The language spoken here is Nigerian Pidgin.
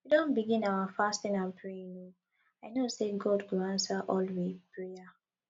we don begin our fasting and praying o i know sey god go answer all we prayer